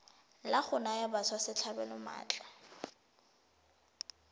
la go naya batswasetlhabelo maatla